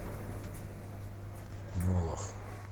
молох